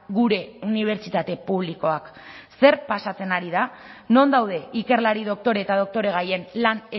gure unibertsitate publikoak zer pasatzen ari da non daude ikerlari doktore eta doktoregaien lan